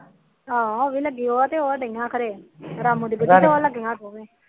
ਹਾਂ ਉਹ ਵੋ ਐ